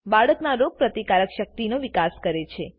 બાળકના રોગપ્રતિકારક શક્તિનો વિકાસ કરે છે